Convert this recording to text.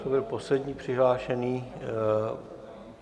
To byl poslední přihlášený...